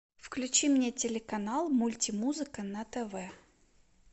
включи мне телеканал мультимузыка на тв